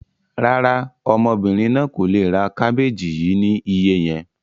Rárá, ọmọbìnrin náà kò le ra àwọn kábéjì yìí ni iye yẹn.